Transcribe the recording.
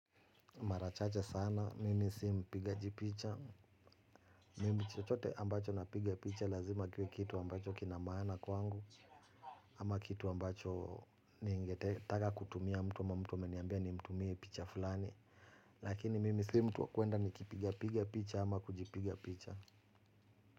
Mara chache sana, mimi si mpigaji picha. Mimi chochote ambacho napiga picha lazima kiwe kitu ambacho kina maana kwangu, ama kitu ambacho ningetaka kutumia mtu wa mtu ama mtu ameniambia nimtumie picha fulani, lakini mimi si mtu wa kuenda nikipiga piga picha ama kujipiga picha.